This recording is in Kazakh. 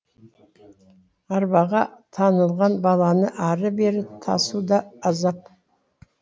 арбаға таңылған баланы ары бері тасу да азап